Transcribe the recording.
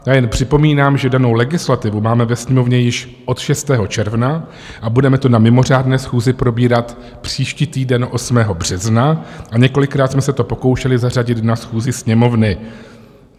A jen připomínám, že danou legislativu máme ve Sněmovně již od 6. června a budeme to na mimořádné schůzi probírat příští týden 8. března a několikrát jsme se to pokoušeli zařadit na schůzi Sněmovny.